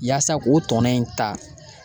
Yaasa k'o tɔnɔ in ta.